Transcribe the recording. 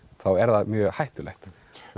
er það mjög hættulegt